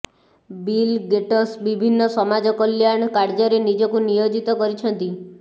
ବିଲ Gates ବିଭିନ୍ନ ସମାଜ କଲ୍ୟାଣ କାର୍ଯ୍ୟରେ ନିଜକୁ ନିୟୋଜିତ କରିଛନ୍ତି